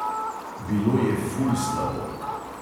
Bilo je "ful" slabo.